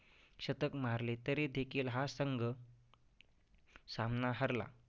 शतक मारले तरी देखील हा संघ सामना हरला.